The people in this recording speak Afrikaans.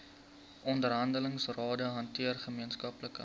onderhandelingsrade hanteer gemeenskaplike